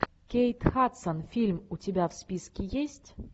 кейт хадсон фильм у тебя в списке есть